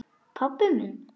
Pabbi minn?